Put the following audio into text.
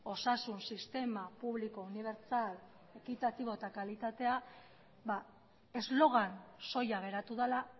osasun sistema publiko unibertsal ekitatibo eta kalitatea eslogan soila geratu dela